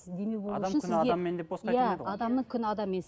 иә адамның күні адаммен